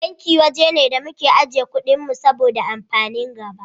Banki waje ne da muke ajiye kuɗin mu saboda amfanin gaba.